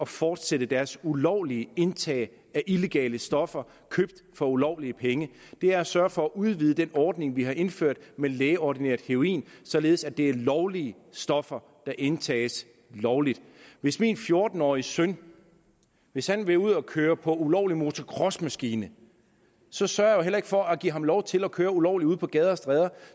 fortsætter deres ulovlige indtag af illegale stoffer købt for ulovlige penge det er at sørge for at udvide den ordning vi har indført med lægeordineret heroin således at det er lovlige stoffer der indtages lovligt hvis min fjorten årige søn vil søn vil ud at køre på ulovlig motocrossmaskine så sørger heller ikke for at give ham lov til at køre ulovligt ude på gader og stræder